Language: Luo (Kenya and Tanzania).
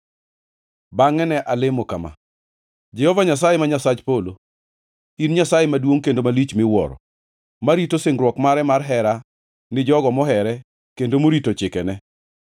Bangʼe ne alemo kama: “Jehova Nyasaye, ma Nyasach Polo, in Nyasaye maduongʼ kendo malich miwuoro, marito singruok mare mar hera gi jogo mohere kendo morito chikene.